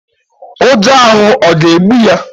Ụjọ ahụ ọ̀ ga-egbu ya?